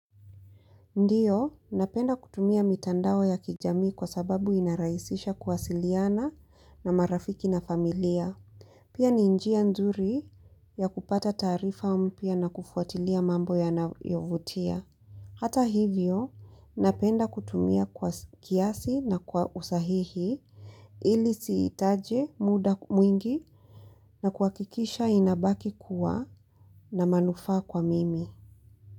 Ndiyo, napenda kutumia mitandao ya kijami kwa sababu inaraisisha kwa wasiliana na marafiki na familia. Pia ni njia nzuri ya kupata taarifa mpya na kufuatilia mambo ya nayo vutia. Hata hivyo, napenda kutumia kwa kiasi na kwa usahihi ili siitaje muda mwingi na kwa kikisha inabaki kuwa na manufaa kwa mimi.